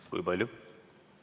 Kui palju?